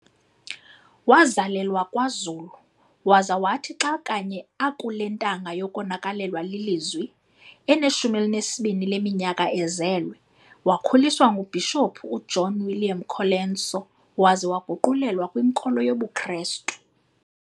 Wazalelwa kwaZulu, waza wathi xa kanye akule ntanga yokonakalelwa lilizwi, eneshumi elinesibini leminyaka ezelwe, wakhuliswa nguBhishophu u-uJohn William Colenso waza waguqulelwa kwinkolo yobuKrestu.